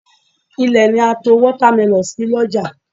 Ilẹ̀ ni a to Wọ́támẹlọ̀n sí l'ọ́jà